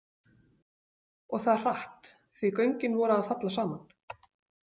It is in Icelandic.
Og það hratt, því göngin voru að falla saman.